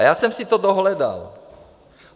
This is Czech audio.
A já jsem si to dohledal.